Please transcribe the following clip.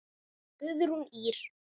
Guðrún Ýr.